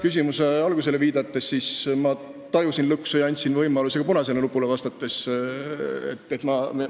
Küsimuse algusele viidates, ma tajusin lõksu ja andsin oma vastusega võimaluse ka punasele nupule vajutada.